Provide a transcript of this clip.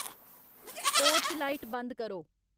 porch light बंद करो